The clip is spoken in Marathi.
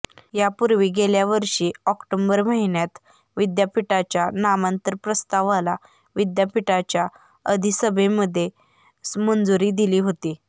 यापूर्वी गेल्या वर्षी ऑक्टोबर महिन्यात विद्यापीठाच्या नामांतर प्रस्तावाला विद्यापीठाच्या अधिसभेमध्ये मंजुरी दिली होती